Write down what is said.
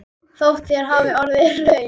Þótt hér hafi orðið hrun.